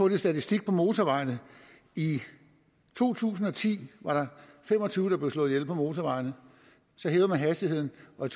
lidt statistik om motorvejene i to tusind og ti var der fem og tyve der blev slået ihjel på motorvejene så hævede man hastigheden og